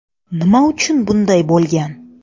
Nima uchun bunday bo‘lgan?